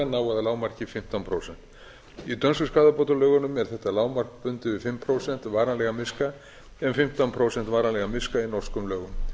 nái að lágmarki fimmtán prósent í dönsku skaðabótalögunum er þetta lágmark bundið við fimm prósent varanlegan miska en fimmtán prósent varanlegan miska í norskum lögum